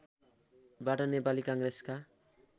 बाट नेपाली काङ्ग्रेसका